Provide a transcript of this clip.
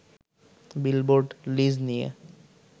billboard lease নিয়ে